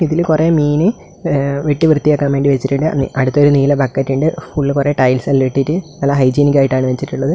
ഇതിൽ കുറെ മീന് വെട്ടി വൃത്തിയാക്കാൻ വേണ്ടി വച്ചിട്ടുണ്ട് അടുത്തൊരു നീല ബക്കറ്റുണ്ട് ഉള്ളിൽ കുറേ ടൈൽസ് ഇട്ടിട്ട് ഹൈജീനിക് ആയിട്ടാണ് വെച്ചിട്ടുള്ളത്.